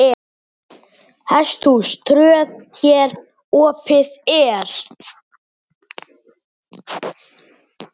Hesthús tröð hér opið er.